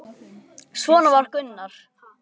Justin Thomas